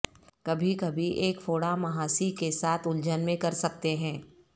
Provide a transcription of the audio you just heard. کبھی کبھی ایک فوڑا مںہاسی کے ساتھ الجھن میں کر سکتے ہیں